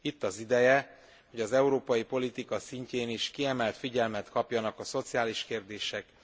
Itt az ideje, hogy az európai politika szintjén is kiemelt figyelmet kapjanak a szociális kérdések.